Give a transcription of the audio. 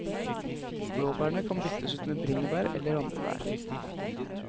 Blåbærene kan byttes ut med bringebær eller andre bær.